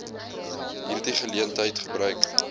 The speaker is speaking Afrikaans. hierdie geleentheid gebruik